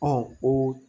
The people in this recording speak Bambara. Ɔ ko